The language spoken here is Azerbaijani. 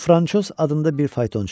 O Franşoz adında bir faytonçudur.